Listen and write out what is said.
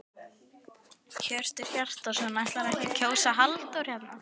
Hjörtur Hjartarson: Ætlarðu ekki að kjósa Halldór hérna?